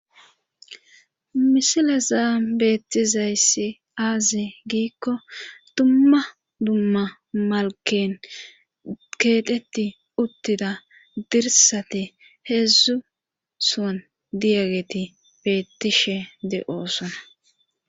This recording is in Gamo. misilazan beettizayssi aaze giikko dumma dumma malken keeqeti uttida dirsate heedzdzu son diyageti beettishe de7oosona